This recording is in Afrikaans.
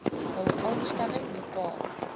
hul aanstelling bepaal